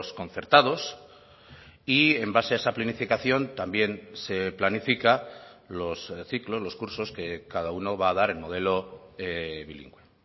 concertados y en base a esa planificación también se planifica los ciclos los cursos que cada uno va a dar en modelo bilingüe